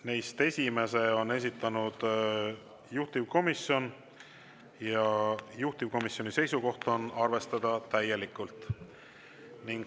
Neist esimese on esitanud juhtivkomisjon ja juhtivkomisjoni seisukoht on arvestada täielikult.